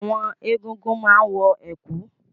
Àwọn egúngún máa ń wọ ẹ̀kú